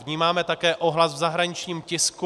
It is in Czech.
Vnímáme také ohlas v zahraničním tisku.